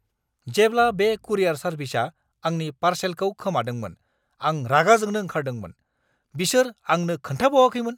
जेब्ला बे कुरियार सार्भिसआ आंनि पार्सेलखौ खोमादोंमोन, आं रागा जोंनो ओंखारदोंमोन, बिसोर आंनो खोन्थाबावाखैमोन!